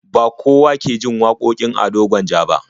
Ba kowa ke jin wakokin Ado Gwanja ba.